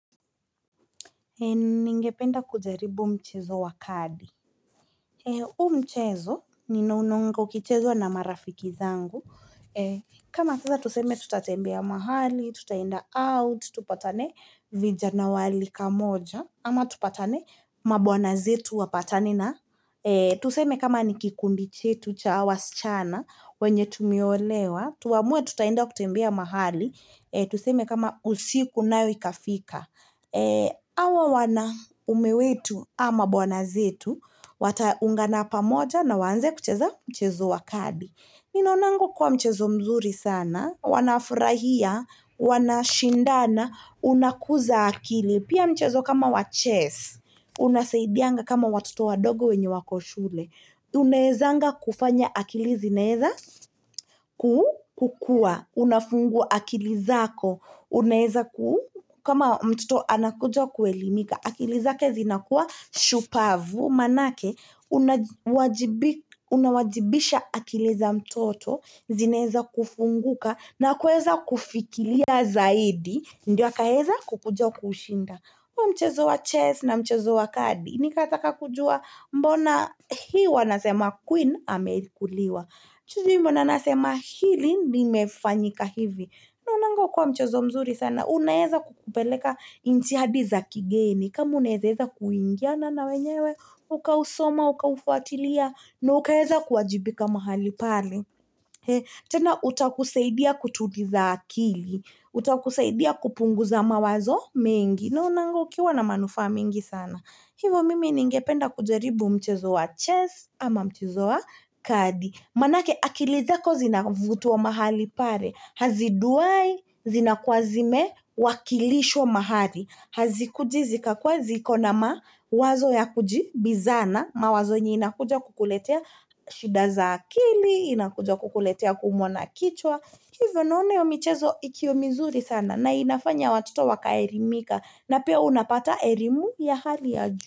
Ningependa kujaribu mchezo wa kadi. Huo mchezo ni nonongo kichezo na marafiki zangu. Kama tuseme tutatembea mahali, tutaenda out, tupatane vijana wali kamoja. Ama tupatane mabuanazetu wapatanina. Tuseme kama nikikundinchetu cha wasichana wenye tumeolewa. Tuamue tutaenda kutembea mahali. Tuseme kama usiku na wikafika. Awa wana umewetu ama bwana zetu, wataungana pamoja na waanze kucheza mchezo wa kadi. Ninaunango kwa mchezo mzuri sana, wanafurahia, wanashindana, unakuza akili. Pia mchezo kama wa chess, unasaidianga kama watoto wadogo wenye wako shule. Unaezanga kufanya akili zinaeza kukua. Unafungua akili zako kama mtoto anakuja kuelimika akili zake zinakuwa shupavu Maanake unawajibisha akili za mtoto zinaeza kufunguka na kueza kufikiria zaidi Ndiyo akaeza kukuja kushinda mchezo wa chess na mchezo wa kadi ni kataka kujua mbona huwa nasema queen amekuliwa Chujimu nanasema hili nimefanyika hivi. Na unangu kwa mchozo mzuri sana. Unaeza kukupeleka intiadi za kigeni. Kamu unezeeza kuingiana na wenyewe. Ukausoma, ukaufuatilia. Na ukaeza kuwajibika mahali pale. Tena utakusaidia kutuliza akili. Uta kusaidia kupunguza mawazo mengi. Na unangu kuwa na manufaa mingi sana. Hivo mimi ningependa kujaribu mchezo wa chess ama mchozo wa kadi. Manake akili zako zinavutiwa mahali pale. Hazidai zinakwazime wakilishwa mahali. Hazikujizika kwa zikona mawazo ya kujibizana. Mawazo nyi inakuja kukuletea shida za akili, inakuja kukuletea kumona kichwa. Kivyo naone yomichezo ikiyomizuri sana na inafanya watuto wakaerimika na pia unapata erimu ya hali ya juu.